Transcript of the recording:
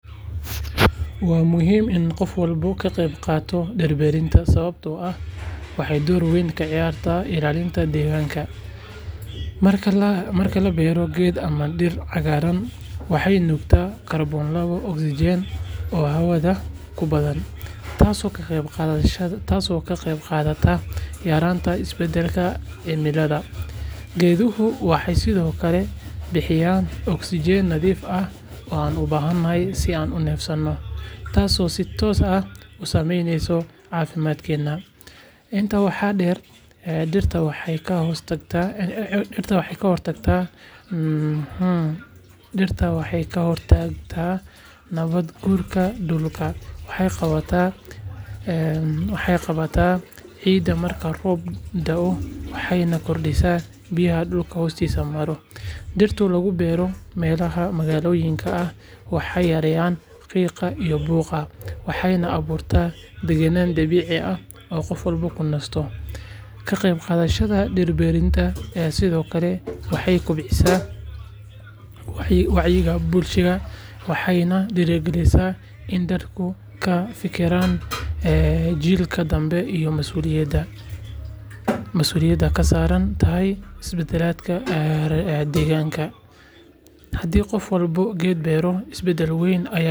Waa muhiim in qof walba ka qeyb qaato dhir-beerista sababtoo ah waxay door weyn ka ciyaartaa ilaalinta deegaanka. Marka la beero geedo ama dhir cagaaran, waxay nuugaan kaarboon laba ogsaydh oo hawada ku badan, taasoo ka qeyb qaadata yaraynta isbedelka cimilada. Geeduhu waxay sidoo kale bixinayaan ogsajiin nadiif ah oo aan u baahanahay si aan u neefsanno, taasoo si toos ah u saameyneysa caafimaadkeena. Intaa waxaa dheer, dhirta waxay ka hortagtaa nabaad guurka dhulka, waxay qabataa ciidda marka roob da’o, waxayna kordhisaa biyaha dhulka hoostiisa mara. Dhirta lagu beero meelaha magaalooyinka ah waxay yareeyaan qiiqa iyo buuqa, waxayna abuurtaa deegaan dabiici ah oo qof walba ku nasto. Ka qeybqaadashada dhir-beerista sidoo kale waxay kobcisaa wacyiga bulshada, waxayna dhiirigelisaa in dadku ka fekeraan jiilka dambe iyo mas’uuliyadda ay ka saaran tahay badbaadada deegaanka. Haddii qof walba geed beero, isbedel weyn ayaa dhici kara.